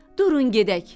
Durun gedək.